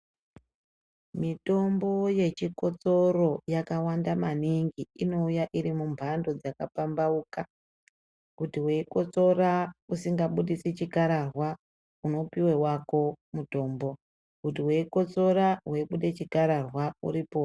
Mitombo yechikotsoro yakawanda maningi inouya irimumbando dzakapambauka kuti weikotsora usingabudisi chikararwa unopiwe wako mutombo kuti weikotsora weibude chikararwa uripowo.